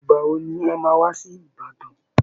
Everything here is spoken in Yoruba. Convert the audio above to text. Ìgbà wo ni ẹ máa wá sí Ìbàdàn